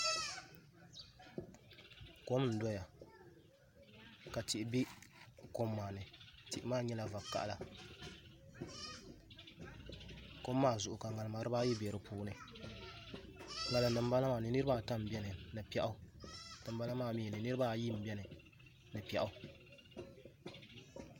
Kom n doya ka tihi bɛ kom maa ni tihi maa nyɛla vakaɣala kom maa zuɣu ka ŋarima dibaayi bɛ dinni ŋarim dinbala maa ni niraba ata n biɛni ni piɛɣu ŋarim dinbala maa ni niraba ayi n biɛni ni piɛɣu